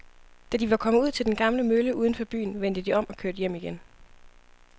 Da de var kommet ud til den gamle mølle uden for byen, vendte de om og kørte hjem igen.